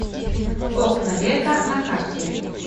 окна века на карте